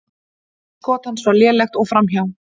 Skot hans var lélegt og framhjá.